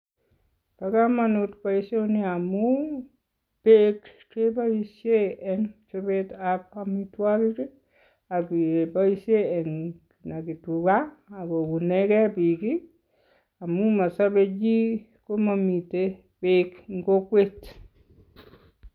Bo kamanut boisioni amun beek kepoishen eng chopetab amitwokik ak kepoishen kenaki tugaa ako kounekee biik amun masobei chii komamitei beek eng kokwet.